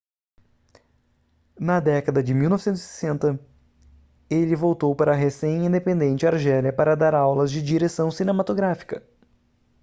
na década de 1960 ele voltou para a recém-independente argélia para dar aulas de direção cinematográfica